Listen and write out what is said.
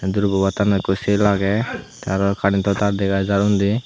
durgo bo attanot ekko shil aage te aro current to tar dega jar undi.